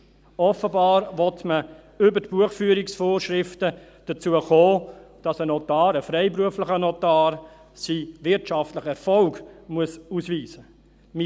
Offenbar will man über die Buchhaltungsvorschriften dazu kommen, dass ein Notar, ein freiberuflicher Notar, seinen wirtschaftlichen Erfolg ausweisen muss.